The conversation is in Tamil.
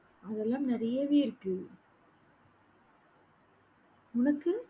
அதெல்லாம் நிறையவே இருக்கு. உனக்கு?